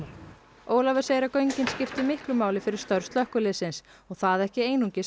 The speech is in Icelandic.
Ólafur segir að göngin skipti miklu máli fyrir störf slökkviliðsins og það ekki einungis á